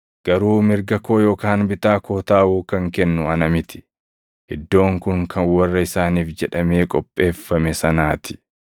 garuu mirga koo yookaan bitaa koo taaʼuu kan kennu ana miti. Iddoon kun kan warra isaaniif jedhamee qopheeffame sanaa ti.”